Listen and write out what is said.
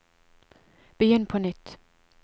begynn på nytt